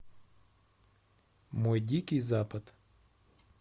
мой дикий запад